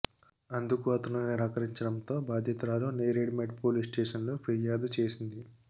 అందు కు అతను నిరాకరించడంతో బాధితురాలు నేరేడ్ మెట్ పోలీస్ స్టేషన్లో ఫిర్యాదు చేసింది